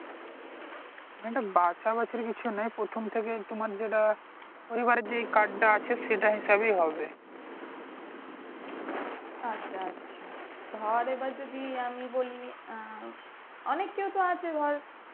আচ্ছা আচ্ছা ধর এবার যদি আমি বলি আহ অনেকেই তো আছে ধর